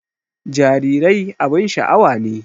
Jarirai abun sha'awa ne